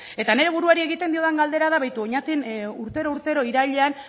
eta nire buruari egiten diodan galdera da begira oñatin urtero urtero irailean